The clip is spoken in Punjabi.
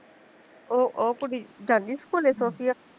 ਉਹ ਉਹ ਕੁੜੀ ਜਾਂਦੀ ਸਕੂਲੇ ਸੋਫੀਆ